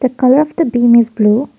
the colour of the bin is blue.